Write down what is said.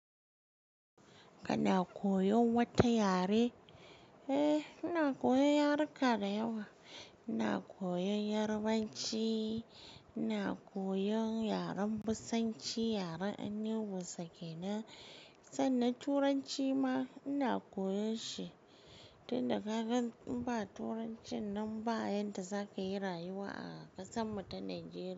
Kana koyon wata yare? Eh, ina koyan yaruka da yawa. Ina koyan Yarbanci, ina koyan yaren Bisanci, yaren annibu sake na. Sannan Turanci ma ina koyan shi, tun da ka gan in ba Turancin nan ba, yadda za ka yi rayuwa a ƙasan mu ta Najeriya.